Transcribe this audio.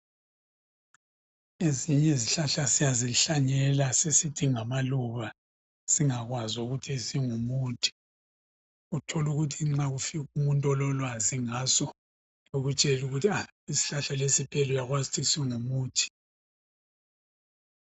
Ezinye izihlahla siyazihlanyela sisithi ngamaluba singakwazi ukuthi zingumuthi. Uthola ukuthi nxa kufika umuntu ololwazi ngaso akutshele ukuthi a isihlahla lesi phela uyakwazi singumuthi.